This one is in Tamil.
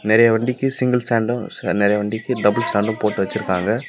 நெறைய வண்டிக்கி சிங்க்ள் ஸ்டேண்டு ச் நெறைய வண்டிக்கி டப்ள் ஸ்டேண்டு போட்டு வச்சிருக்காங்க.